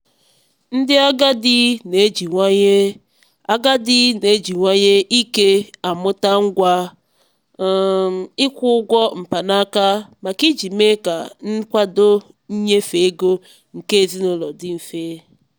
ndị agadi na-ejiwanye agadi na-ejiwanye ike amụta ngwa um ịkwụ ụgwọ mkpanaka maka iji mee ka nkwado nnyefe ego nke ezinụlọ dị mfe.